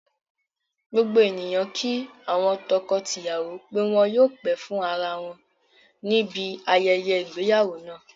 Gbogbo ènìyàn kí àwọn tọkọ tìyàwọ́ pé wọn yóò pẹ́ fún ara wọn níbi ayẹyẹ ìgbéyàwó náà